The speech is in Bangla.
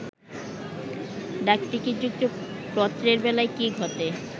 ডাকটিকিট যুক্ত পত্রের বেলায় কি ঘটে